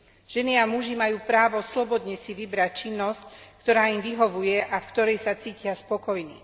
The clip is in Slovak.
Ženy a muži majú právo slobodne si vybrať činnosť, ktorá im vyhovuje a v ktorej sa cítia spokojní.